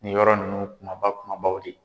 Nin yɔrɔ ninnu kumaba kumabaw de ye.